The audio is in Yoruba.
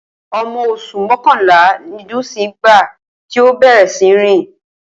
O̩mo̩ os̩ù mó̩kànlá ni Dùnńsín nígbà tí ó bè̩rè̩ sí ní rìn